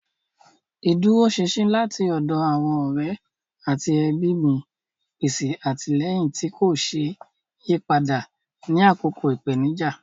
Ìdúróṣinṣin láti ọ̀dọ̀ àwọn ọ̀rẹ́ àti ẹbí mi pèsè àtìlẹ́yìn tí kò ṣeé yí padà ní àkókò ìpèníjà.